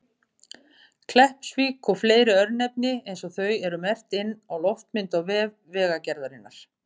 Kleppsvík og fleiri örnefni eins og þau eru merkt inn á loftmynd á vef Vegagerðarinnar.